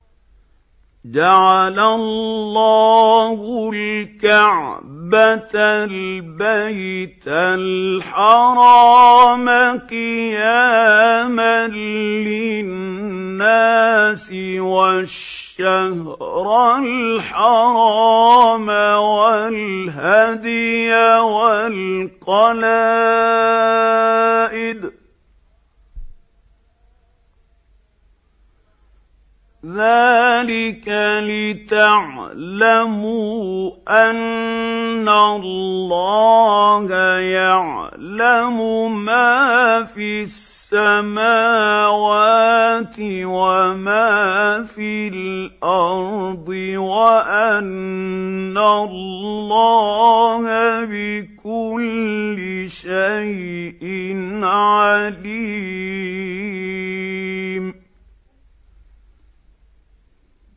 ۞ جَعَلَ اللَّهُ الْكَعْبَةَ الْبَيْتَ الْحَرَامَ قِيَامًا لِّلنَّاسِ وَالشَّهْرَ الْحَرَامَ وَالْهَدْيَ وَالْقَلَائِدَ ۚ ذَٰلِكَ لِتَعْلَمُوا أَنَّ اللَّهَ يَعْلَمُ مَا فِي السَّمَاوَاتِ وَمَا فِي الْأَرْضِ وَأَنَّ اللَّهَ بِكُلِّ شَيْءٍ عَلِيمٌ